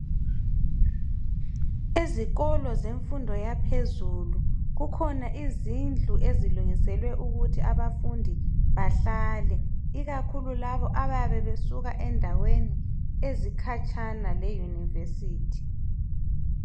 Ezikolo zemfundo yaphezulu kukhona izindlu ezilungiselwe ukuthi abafundi bahlale, ikakhulu laba abayabe besuka endaweni ezikhatshana le yunivesithi.